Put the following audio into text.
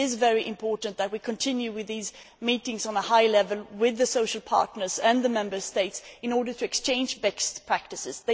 It is very important that we continue with these meetings at a high level with the social partners and the Member States in order to exchange best practices.